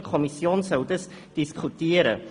Die Kommission soll die Formulierung diskutieren.